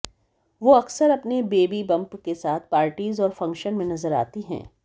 वो अक्सर अपने बेबी बंप के साथ पार्टीज़ और फंक्शन में नज़र आती हैं